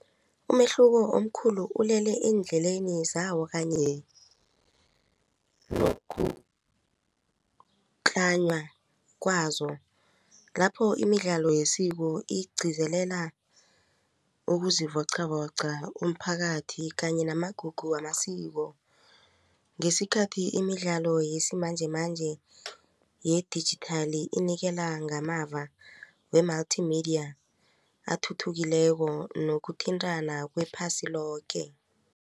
Umehluko omkhulu ulele endleleni zawo kanye kwazo lapho imidlalo yesiko igcizelela ukuzivoqavoqa umphakathi kanye namagugu wamasiko ngesikhathi imidlalo yesimanjemanje yedijithali inikela ngamava we-multimedia athuthukileko nokuthintana kwephasi loke.